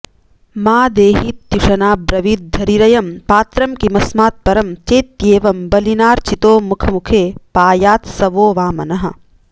मा देहीत्युशनाब्रवीद्धरिरयं पात्रं किमस्मात्परं चेत्येवं बलिनार्चितो मखमुखे पायात्स वो वामनः